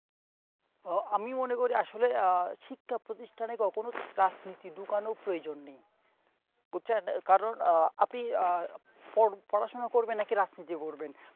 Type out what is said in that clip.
আহ আমিও মনে করি আসলে আহ শিক্ষা প্রতিষ্ঠানে কখনো রাজনীতি ঢুকানো প্রয়োজন নেই বুচ্ছেন কারণ আহ আপনি আহ পর~পড়াশোনা করবেন নাকি রাজনীতি করবেন